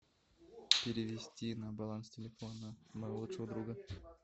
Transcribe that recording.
перевести на баланс телефона моего лучшего друга